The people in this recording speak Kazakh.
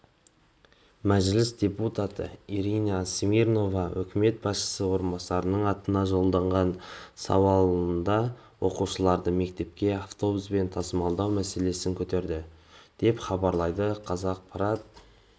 мәжіліс депутаты ирина смирнова үкімет басшысы орынбасарының атына жолдаған сауалында оқушыларды мектепке автобуспен тасымалдау мәселесін көтерді деп хабарлайды қазақпарат